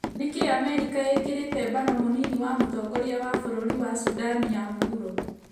Nĩkĩĩ Amerika ĩkĩrĩte mbano mũnini wa mũtongoria wa bũrũri wa Sudan ya mũhuro?